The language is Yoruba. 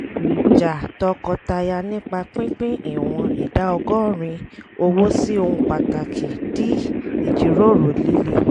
ìjà tọkọtaya nípa pípín ìwọ̀n ìdá ọgọ́rin owó sí ohun pàtàkì di ìjíròrò líle